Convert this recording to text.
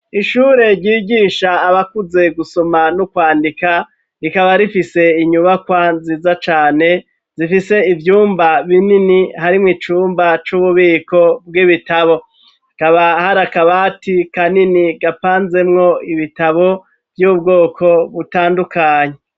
Ishure ryigisha abakuze gusoma no kwandika, rikaba rifise inyubakwa nziza cane zifise ivyumba binini, harimwo icumba c'ububiko bw'ibitabo. Hakaba hari akabati kanini gapanzemwo ibitabo vy'ubwoko butandukanye.